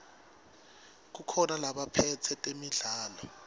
kukhona labaphetse temidlalo